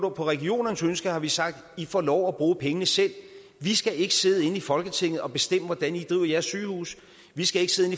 regionernes ønske har vi sagt i får lov at bruge pengene selv vi skal ikke sidde inde i folketinget og bestemme hvordan i driver jeres sygehuse vi skal ikke sidde